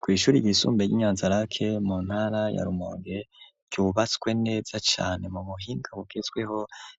Kw'ishuri ryisumbe, ry'i Nyanzarake, mu ntara ya Rumonge, ryubatswe neza cane, mu buhinga, bugezweho;